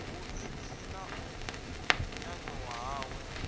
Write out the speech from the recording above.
vhuḓipfi na u nyanyuwa hawe